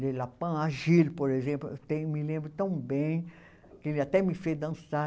por exemplo, tem eu me lembro tão bem que ele até me fez dançar.